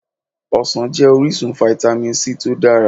Ọsàn jẹ́ orísun Fítámì C tó dára.